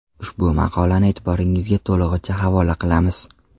Ushbu maqolani e’tiboringizga to‘lig‘icha havola qilamiz.